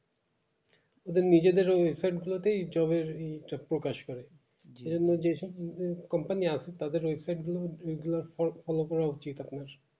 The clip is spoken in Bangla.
ওদের নিজেদের ওই website গুলো তেই job এর এটা প্রকাশ করে যে সব আহ company আসে তাদের website গুলো follow করা উচিত আপনার